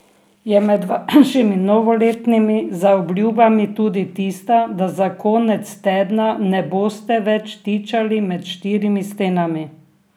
Je med vašimi novoletnimi zaobljubami tudi tista, da za konec tedna ne boste več tičali med štirimi stenami?